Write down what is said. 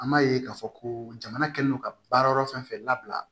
An m'a ye k'a fɔ ko jamana kɛlen don ka baarayɔrɔ fɛn fɛn labila